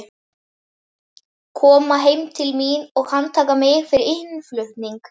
Koma heim til mín og handtaka mig fyrir innflutning?